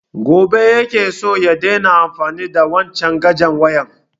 Gobe ya ke so ya daina amfani da wanchan cajan wayan